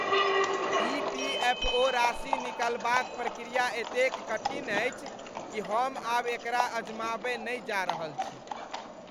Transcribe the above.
EPFO राशि निकालबाक प्रक्रिया एतेक कठिन अछि कि हम आब एकरा अजमाबय नहि जा रहल छी।